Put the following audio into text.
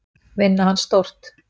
Vinna hann stórt.